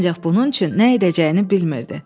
Ancaq bunun üçün nə edəcəyini bilmirdi.